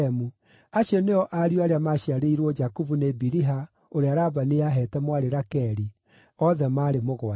Acio nĩo ariũ arĩa maaciarĩirwo Jakubu nĩ Biliha ũrĩa Labani aaheete mwarĩ Rakeli, othe maarĩ mũgwanja.